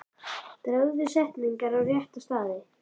Dragðu setningar á rétta staði.